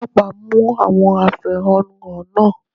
Àwọn Ọlọ́pàá mú àwọn afẹ̀họ́nú hàn náà.